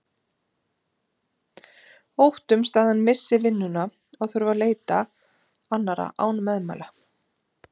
Óttumst að hann missi vinnuna og þurfi að leita annarrar án meðmæla.